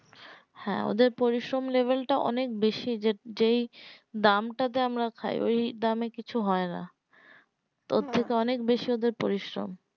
হ্যাঁ ওদের পরিশ্রম level টা অনেক বেশি যে যেই দাম টা তে আমরা খায় ওই দামে কিছু হয় না ওর থেকে ওদের অনেক বেশি পরিশ্রম